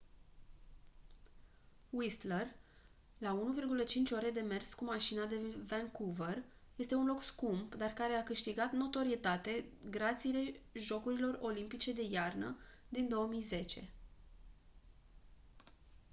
whistler la 1,5 ore de mers cu mașina de vancouver este un loc scump dar care a câștigat notorietate grație jocurilor olimpice de iarnă din 2010